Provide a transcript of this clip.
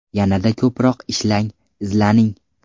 Yanada ko‘proq ishlang, izlaning.